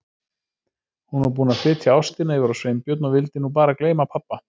Hún var búin að flytja ástina yfir á Sveinbjörn og vildi nú bara gleyma pabba.